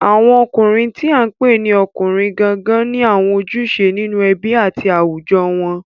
Àwọn ọkùnrin tí à ń pè ní ọkùnrin gangan ni àwọn ojúṣe nínú ẹbí àti àwùjọ wọn